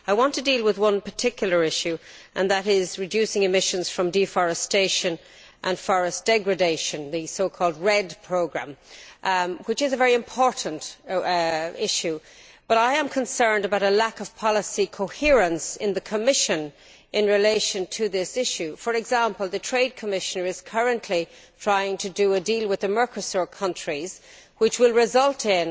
I want to deal with one particular issue and that is reducing emissions from deforestation and forest degradation, the so called REDD programme, which is a very important issue, but I am concerned about a lack of policy coherence in the Commission in relation to this issue. For example, the Trade Commissioner is currently trying to do a deal with the Mercosur countries which will result in